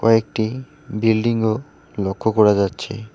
কয়েকটি বিল্ডিং -ও লক্ষ করা যাচ্ছে।